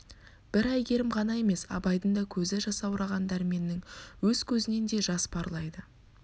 бір әйгерім ғана емес абайдың да көзі жасаураған дәрменнің өз көзінен де жас парлайды